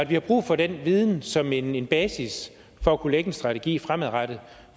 vi har brug for den viden som en basis for at kunne lægge en strategi fremadrettet